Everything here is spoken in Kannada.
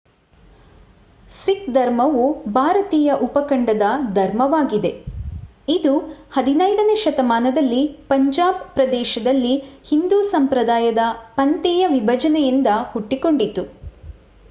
ಸಿಖ್ ಧರ್ಮವು ಭಾರತೀಯ ಉಪಖಂಡದ ಧರ್ಮವಾಗಿದೆ ಇದು 15 ನೇ ಶತಮಾನದಲ್ಲಿ ಪಂಜಾಬ್ ಪ್ರದೇಶದಲ್ಲಿ ಹಿಂದೂ ಸಂಪ್ರದಾಯದ ಪಂಥೀಯ ವಿಭಜನೆಯಿಂದ ಹುಟ್ಟಿಕೊಂಡಿತು